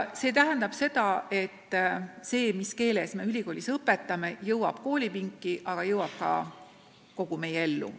See tähendab, et on oluline, mis keeles me ülikoolis õpetame, aga selle mõju ulatub kogu meie ellu.